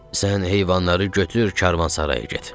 "Sən heyvanları götür karvansaraya get.